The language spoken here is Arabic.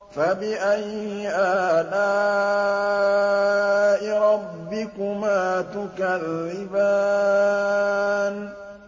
فَبِأَيِّ آلَاءِ رَبِّكُمَا تُكَذِّبَانِ